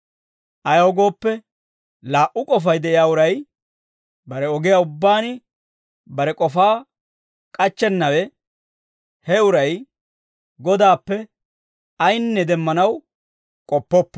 Ayaw gooppe, laa"u k'ofay de'iyaa uray, bare ogiyaa ubbaan bare k'ofaa k'achchennawe, he uray Godaappe ayinne demmanaw k'oppoppo.